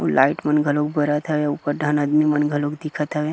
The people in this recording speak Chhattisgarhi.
अऊ लाइट मन घलोक बरत हवे ऊपर डाहन आदमी मन घलोक दिखत हवे।